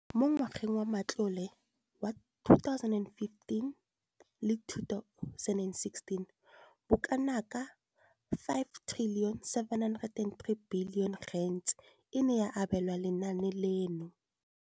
Mo ngwageng wa matlole wa 2015,16, bokanaka R5 703 bilione e ne ya abelwa lenaane leno.